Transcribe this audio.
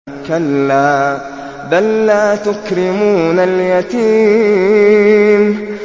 كَلَّا ۖ بَل لَّا تُكْرِمُونَ الْيَتِيمَ